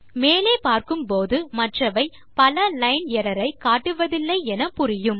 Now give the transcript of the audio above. மேலே பார்க்கும் போது மற்றவை பல லைன் எர்ரர் ஐ காட்டுவதில்லை என புரியும்